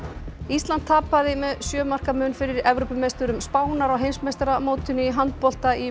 ísland tapaði með sjö marka mun fyrir Evrópumeisturum Spánar á heimsmeistaramótinu í handbolta í